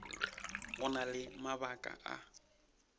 go na le mabaka a